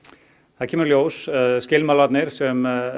það kemur í ljós skilmálarnir sem